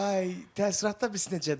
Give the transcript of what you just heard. Ay, təəssüratda bilirsiz necədir?